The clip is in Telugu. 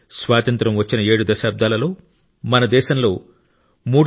స్వాతంత్య్రం వచ్చిన 7 దశాబ్దాలలో మన దేశంలో 3